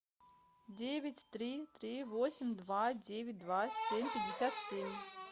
девять три три восемь два девять два семь пятьдесят семь